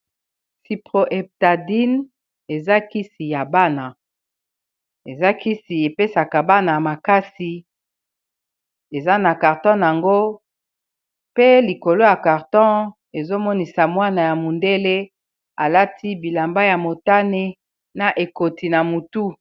Cyproheptadin eza kisi ya bana, eza kisi epesaka bana makasi eza na carton nango pe likolo ya carton ezo monisa mwana ya mondele alati bilamba ya motane na ekoti na mutu.